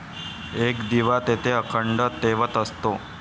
एक दिवा तेथे अखंड तेवत असतो.